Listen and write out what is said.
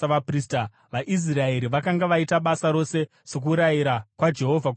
VaIsraeri vakanga vaita basa rose sokurayira kwaJehovha kuna Mozisi.